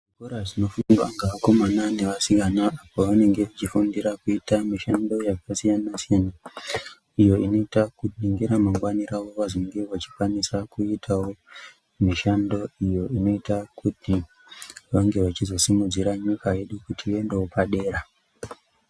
Zvikora zvinofundwa ngevakomana nevasikana apo vanenge vachifundira kuita mushando yakasiyana siyana iyo inoita kuti ngeramangwani rawo vazonge vachikwanise kuitawo mishando iyo inoita kuti vange vachizosimudzirawo nyika yedu kuti ikwanisewo kuendawo padera.